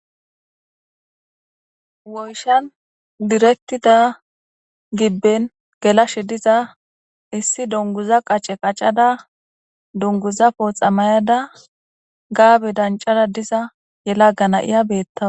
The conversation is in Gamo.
Woyshan direktida gibben gelashe diza issi donguza qace qacada dunguzapoxa mayada gaabe dancada diza yela gana'iya beettawa.